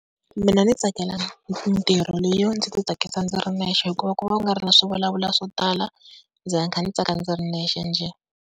Mina ndzi tsakela mintirho leyo ndzi ti tsakisa ndzi ri nexe, hikuva ku va ku nga ri na swivulavula swo tala. Ndzi va kha ndzi tsaka ndzi ri nexe njhe.